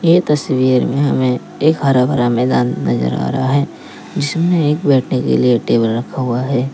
ये तस्वीर में हमें एक हरा भरा मैदान नजर आ रहा है जिसमें एक बैठने के लिए टेबल रखा हुआ है।